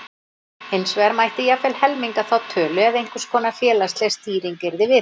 Hins vegar mætti jafnvel helminga þá tölu ef einhverskonar félagsleg stýring yrði viðhöfð.